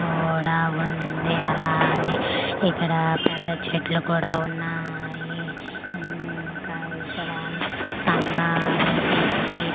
ఓడ ఉంది అలాగే ఇక్కడ పెద్ద చెట్లు కూడా ఉన్నాయి ఇంకా ఇక్కడ స్తంభాలు పెట్టి--